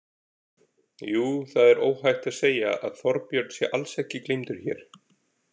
Jú, það er óhætt að segja að Þorbjörn sé alls ekki gleymdur hér.